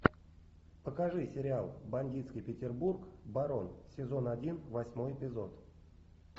покажи сериал бандитский петербург барон сезон один восьмой эпизод